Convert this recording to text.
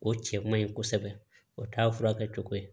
O cɛ man ɲi kosɛbɛ o t'a furakɛ cogo ye